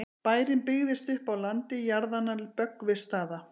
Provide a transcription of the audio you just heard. bærinn byggðist upp á landi jarðanna böggvisstaða